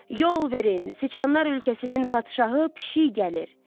Yol verin, siçanlar ölkəsinin padşahı pişik gəlir.